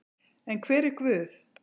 En hver er Guð?